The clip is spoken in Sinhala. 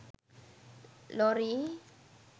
lorry